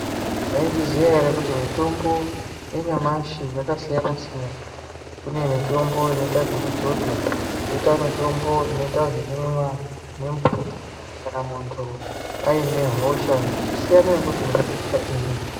Mwaizviziya ere kuti mitombo yanyamashi yakasiyana siyana kune mitombo inoite zvekudzodzwa koita mitombo inoite ekumwiwa nemvura kana muntu aine hosha zvosiyana ngekuti une hosha iri.